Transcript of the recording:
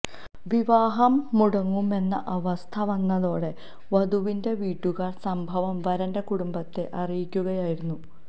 വിവാഹം മുടങ്ങുമെന്ന അവസ്ഥ വന്നതോടെ വധുവിന്റെ വീട്ടുകാർ സംഭവം വരന്റെ കുടുംബത്തെ അറിയിക്കുകയായിരുന്നു